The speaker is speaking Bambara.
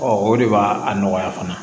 o de b'a a nɔgɔya fana